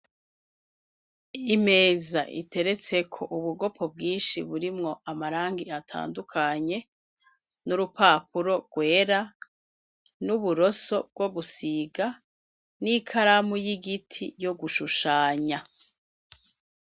Imeza iteretseko ubugopo bwinshi burimwo amarangi atandukanye, n'urupapuro rwera, n'uburoso bwo gusiga, n'ikaramu y'igiti yo gushushanya.